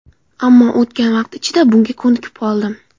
Ammo o‘tgan vaqt ichida bunga ko‘nikib qoldim.